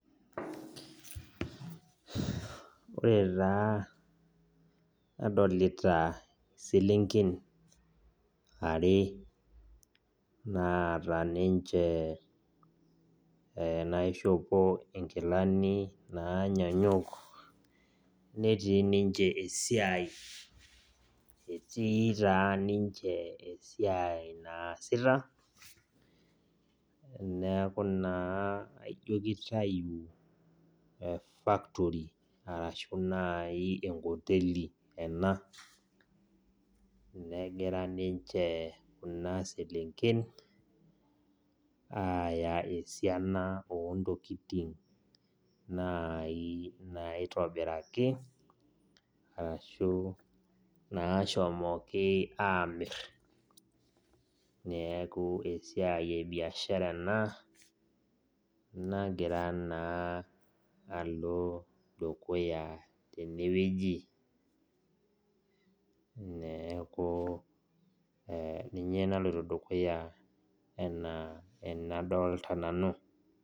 Ore taa nadolita iselenken, are naata ninche naishopo inkilani naanyanyuk, netii ninche esiai. Etii taa ninche esiai naasita, neeku naa aijo kitayu factory arashu nai enkoteli ena, negira ninche kuna selenken aya esiana ontokiting nai naitobiraki, arashu nashomoki amir. Neeku esiai ebiashara ena, nagira naa alo dukuya tenewueji. Neeku ninye naloito dukuya enaa enadolta nanu.